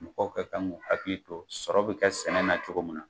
Mɔgɔw kɛ kan k'u hakili to sɔrɔ bɛ ka sɛnɛ na cogo mun na.